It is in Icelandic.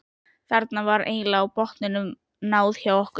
Þarna var eiginlega botninum náð hjá okkur.